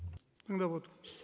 тыңдап отырмыз